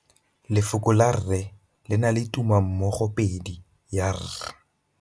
Lefoko la rre le na le tumammogôpedi ya, r.